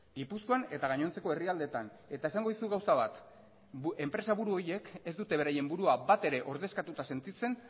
gipuzkoan eta gainontzeko herrialdeetan eta esango dizut gauza bat enpresa buru horiek ez dute beraien burua batere ordezkatuta sentitzen